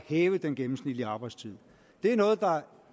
hæve den gennemsnitlige arbejdstid det er noget der